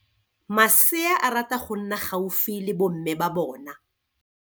Masea a rata go nna gaufi le bomme ba bona.